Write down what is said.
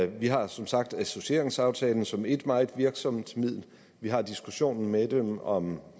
vi har som sagt associeringsaftalen som ét meget virksomt middel vi har diskussionen med dem om